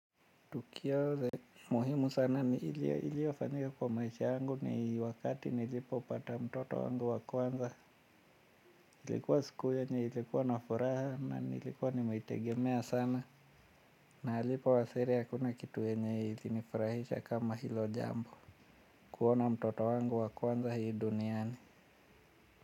Tukio la, muhimu sana ni iliyofanyika kwa maisha yangu ni wakati nilipopata mtoto wangu wa kwanza, ilikuwa siku yenye ilikuwa na furaha na nilikuwa nimeitegemea sana, na alipowasili hakuna kitu yenye ilinifurahisha kama hilo jambo, kuona mtoto wangu wa kwanza hii duniani.